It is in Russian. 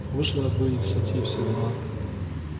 вышла бы из сети и все дела